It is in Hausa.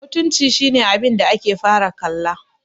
mutunci shi ne abinda ake fara kalla